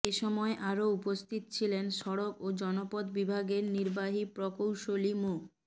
এসময় আরও উপস্থিত ছিলেন সড়ক ও জনপথ বিভাগের নির্বাহী প্রকৌশলী মো